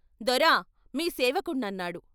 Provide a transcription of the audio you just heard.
"దొరా! మీ సేవకుడ్నన్నాడు."